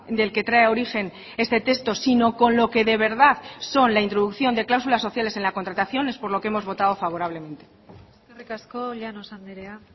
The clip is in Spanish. del que trae origen este texto sino con lo que de verdad son la introducción de cláusulas sociales en la contratación es por lo que hemos votado favorablemente eskerrik asko llanos andrea